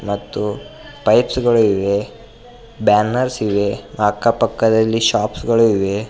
ಮತ್ತು ಪೈಪ್ಸ್ ಗಳು ಇವೆ ಬ್ಯಾನರ್ಸ್ ಇವೆ ಅಕ್ಕ ಪಕ್ಕದಲ್ಲಿ ಶಾಪ್ಸ್ ಗಳು ಇವೆ.